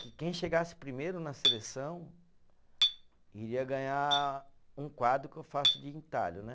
Que quem chegasse primeiro na seleção iria ganhar um quadro que eu faço de entalho, né?